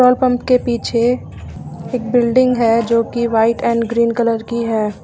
Pump के पीछे एक बिल्डिंग है जो कि व्हाइट एंड ग्रीन कलर की है।